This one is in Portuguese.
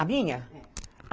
A minha? É